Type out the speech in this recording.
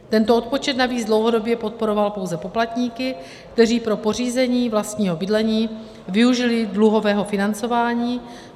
Tento odpočet navíc dlouhodobě podporoval pouze poplatníky, kteří pro pořízení vlastního bydlení využili dluhového financování.